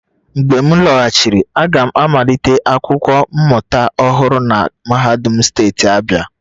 Mgbe m lọghachiri, aga m amalite akwụkwọ mmụta ọhụrụ na mahadum steeti Abia